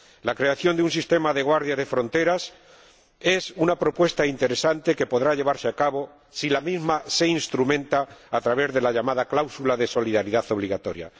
La creación de un sistema de guardia de fronteras es una propuesta interesante que podrá llevarse a cabo si la misma se instrumenta a través de la llamada cláusula de solidaridad obligatoria.